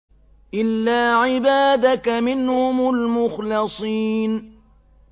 إِلَّا عِبَادَكَ مِنْهُمُ الْمُخْلَصِينَ